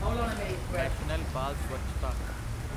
national ਬਾਲ ਸਵੱਛਤਾ